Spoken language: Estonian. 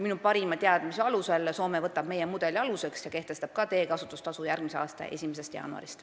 Minu parima teadmise kohaselt võtab ka Soome meie mudeli aluseks ja kehtestab teekasutustasu järgmise aasta 1. jaanuarist.